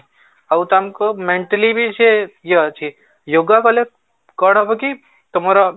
ଆଉ ତାଙ୍କ mentally ବି ସେ ଇଏ ଅଛି yoga କଲେ କଣ ହବ କି ତମର